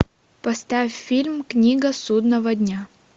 поставь фильм книга судного дня